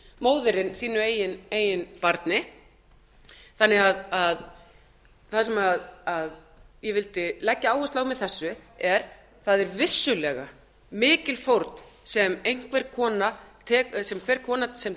móðirin sínu eigin barni það sem ég vildi leggja áherslu á með þessu er það er vissulega mikil fórn sem hver kona sem